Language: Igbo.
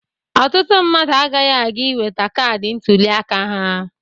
Ọtụtụ mmadụ agaghị aga iweta kaadị ntụliaka ha.